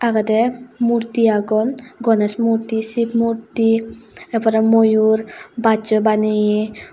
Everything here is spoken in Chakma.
evadey murti agon gonesh murti shiv murti er pore moyur bachoi baneyi.